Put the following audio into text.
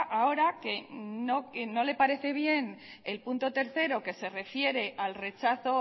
ahora que no le parece bien el punto tercero que se refiere al rechazo